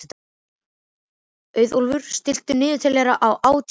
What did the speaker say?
Auðólfur, stilltu niðurteljara á átján mínútur.